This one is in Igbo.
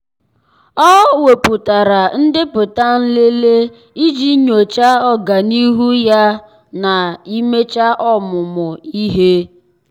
ọ́ wèpụ̀tárà ndepụta nlele iji nyòcháá ọ́gànihu ya na íméchá ọ́mụ́mụ́ ihe.